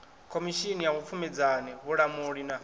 khomishini ya vhupfumedzani vhulamuli na